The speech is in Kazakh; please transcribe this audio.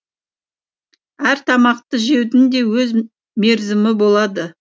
әр тамақты жеудің де өз мерзімі болады